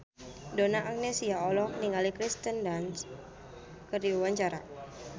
Donna Agnesia olohok ningali Kirsten Dunst keur diwawancara